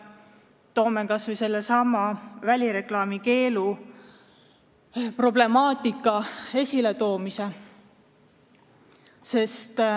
Toon näiteks kas või välireklaami keelu problemaatika esiletoomise.